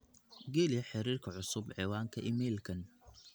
geli xiriirka cusub ciwaanka iimaylkan